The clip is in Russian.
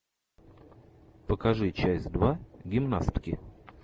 покажи часть два гимнастки